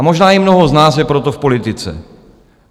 A možná i mnoho z nás je proto v politice.